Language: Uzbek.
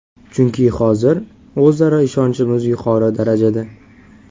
Chunki hozir o‘zaro ishonchimiz yuqori darajada.